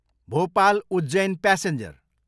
Bhopal, Ujjain passenger